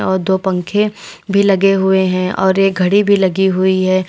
और दो पंखे भी लगे हुए हैं और एक घड़ी भी लगी हुई है।